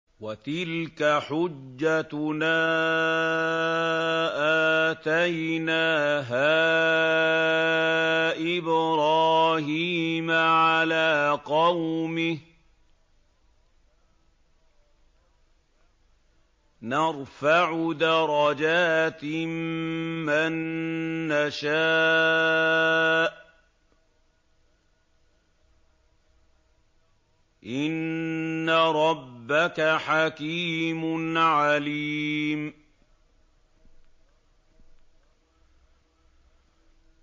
وَتِلْكَ حُجَّتُنَا آتَيْنَاهَا إِبْرَاهِيمَ عَلَىٰ قَوْمِهِ ۚ نَرْفَعُ دَرَجَاتٍ مَّن نَّشَاءُ ۗ إِنَّ رَبَّكَ حَكِيمٌ عَلِيمٌ